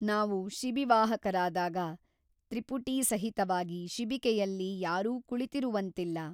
ನಾವು ಶಿಬಿವಾಹಕರಾದಾಗ ತ್ರಿಪುಟೀಸಹಿತವಾಗಿ ಶಿಬಿಕೆಯಲ್ಲಿ ಯಾರೂ ಕುಳಿತಿರುವಂತಿಲ್ಲ.